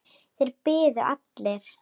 Þeir biðu allir.